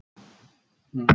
Eskja, ekki fórstu með þeim?